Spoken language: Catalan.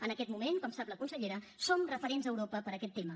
en aquest moment com sap la consellera som referents a europa per aquest tema